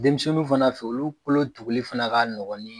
Denmisɛnninw fana fe olu kolo tuguli fana ka nɔgɔn ni